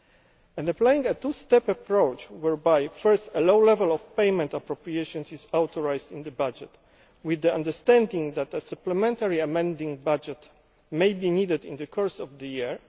It is taking a two step approach, whereby first a low level of payment appropriations is authorised in the budget, with the understanding that a supplementary amending budget may be needed in the course of the